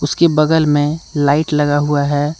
उसकी बगल में लाइट लगा हुआ है।